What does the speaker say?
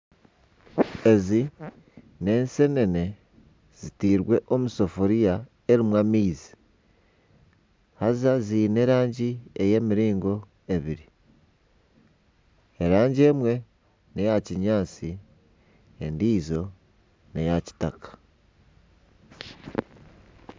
Ezi n'ensenene zitairwe omu sefuria erimu amaizi haza ziine erangi ey'emiringo ebiri, erangi emwe n'eya kinyaatsi endiijo n'eya kitaka